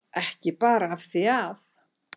Ekki bara af því að